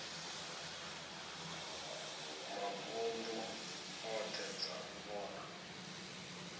mavunḓu oṱhe dza u vhona